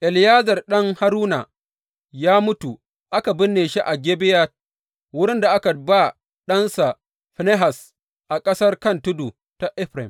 Eleyazar ɗan Haruna, ya mutu aka binne shi a Gibeya, wurin da aka ba ɗansa Finehas a ƙasar kan tudu ta Efraim.